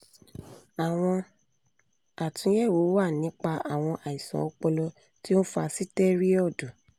àwọn àtúnyẹ̀wò wà nípa àwọn àìsàn ọpọlọ tí ó ń fa sitẹriọdu